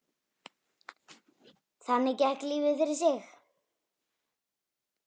Þannig gekk lífið fyrir sig.